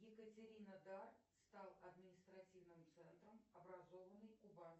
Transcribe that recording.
екатеринодар стал административным центром образованным